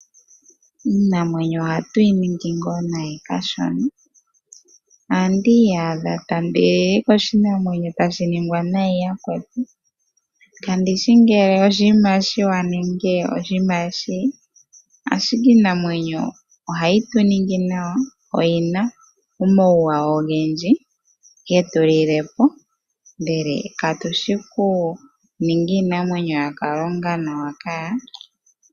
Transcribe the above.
Iinamwenyo ohatu yi ningi ngaa nayi kashona. Ohandi iyadha tandi lili koshinamwenyo tashi ningwa nayi yakwetu kandishi ngele oshinima oshiwanawa nenge oshinima oshiwinayi ashike iinamwenyo ohayi tu ningi nawa oyi na omauwanawa ogendji getulile po ndele katushi okuninga iinamwenyo yaKalunga nawa kaa.